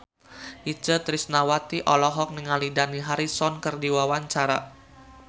Itje Tresnawati olohok ningali Dani Harrison keur diwawancara